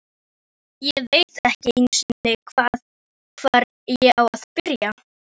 Ég veit ekki einu sinni, hvar ég á að byrja.